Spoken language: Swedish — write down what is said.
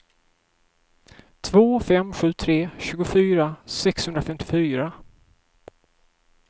två fem sju tre tjugofyra sexhundrafemtiofyra